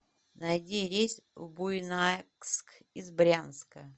найди рейс в буйнакск из брянска